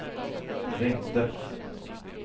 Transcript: ringde